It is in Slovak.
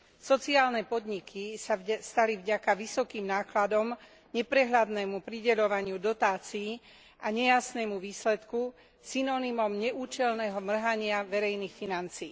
Sociálne podniky sa stali vďaka vysokým nákladom, neprehľadnému prideľovaniu dotácií a nejasnému výsledku synonymom neúčelného mrhania verejných financií.